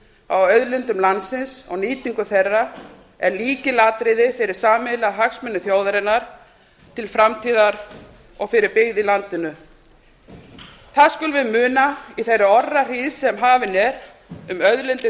á auðlindum landsins á nýtingu þeirra er lykilatriði fyrir sameiginlega hagsmuni þjóðarinnar til framtíðar og fyrir byggð í landinu það skulum við muna í þeirri orrahríð sem hafin er um auðlindir